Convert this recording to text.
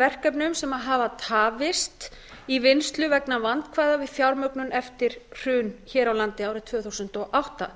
verkefnum sem hafa tafist í vinnslu vegna vandkvæða við fjármögnun eftir hrun hér á landi árið tvö þúsund og átta